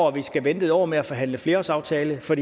at vi skal vente en år med at forhandle en flerårsaftale for